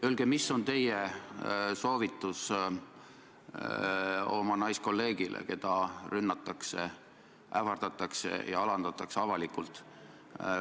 Öelge, mis on teie soovitus oma naiskolleegile, keda rünnatakse, ähvardatakse ja alandatakse avalikult.